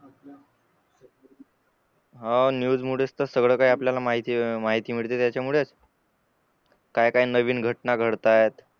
हा न्यूज मुळे तर सर्व काही आपल्याला माहिती मिळते त्यामुळेच काय काय नवीन घटना घडता येत